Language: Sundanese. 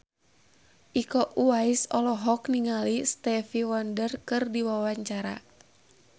Iko Uwais olohok ningali Stevie Wonder keur diwawancara